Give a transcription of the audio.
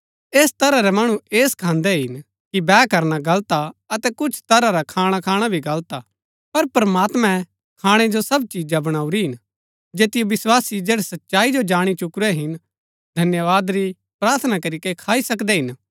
ऐस तरह रै मणु ऐह सखान्दै हिन कि बैह करना गलत हा अतै कुछ तरह रा खाणा खाणा भी गलत हा पर प्रमात्मैं खाणै जो सब चिजा बणाऊरी हिन जैतिओ विस्वासी जैड़ै सच्चाई जो जाणी चुकुरै हिन धन्यवाद री प्रार्थना करीके खाई सकदै हिन